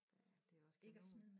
Ja det er også kanon